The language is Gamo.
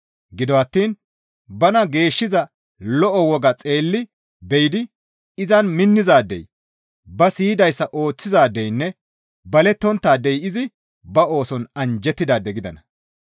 Gido attiin bana geeshshiza lo7o wogaa xeelli be7idi izan minnizaadey ba siyidayssa ooththizaadeynne balonttaadey izi ba ooson anjjettidaade gidana.